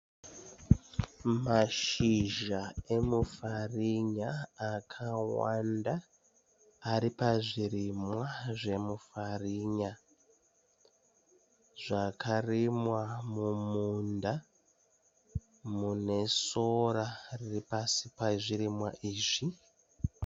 Mashizha emufarinya akawanda ari pazvirimwa zvemufarinya. Zvakarimwa mumunda mune sora riri pasi pezvirimwa izvi.